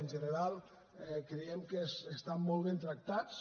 en general creiem que estan molt ben tractats